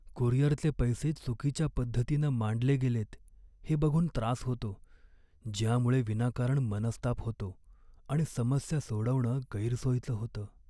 कुरिअरचे पैसे चुकीच्या पद्धतीनं मांडले गेलेत हे बघून त्रास होतो, ज्यामुळे विनाकारण मनस्ताप होतो आणि समस्या सोडवणं गैरसोयीचं होतं.